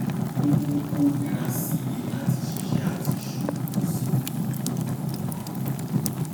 ó mú kó nira sí i láti ṣiṣẹ àti ṣòwò ó sì fi kúná hàn